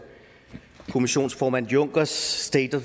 kommissionsformand junckers state